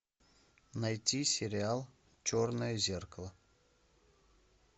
найти сериал черное зеркало